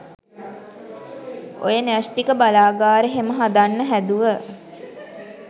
ඔය න්‍යෂ්ඨික බලාගාර හෙම හදන්න හැදුව